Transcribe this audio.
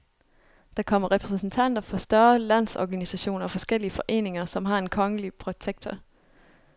Der kommer repræsentanter for større landsorganisationer og forskellige foreninger, som har en kongelige protektor.